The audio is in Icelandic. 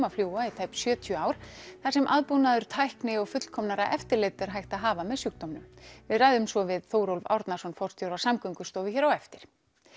að fljúga í tæp sjötíu ár þar sem aðbúnaður tækni og fullkomnara eftirlit er hægt að hafa með sjúkdómnum við ræðum svo við Þórólf Árnason forstjóra Samgöngustofu hér á eftir